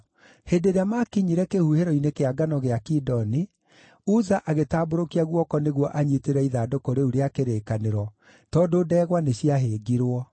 Hĩndĩ ĩrĩa maakinyire kĩhuhĩro-inĩ kĩa ngano gĩa Kidoni, Uza agĩtambũrũkia guoko nĩguo anyiitĩrĩre ithandũkũ rĩu rĩa kĩrĩkanĩro, tondũ ndegwa nĩciahĩngirwo.